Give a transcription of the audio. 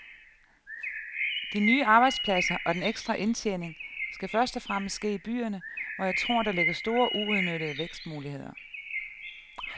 De nye arbejdspladser og den ekstra indtjening skal først og fremmest ske i byerne, hvor jeg tror, der ligger store uudnyttede vækstmuligheder.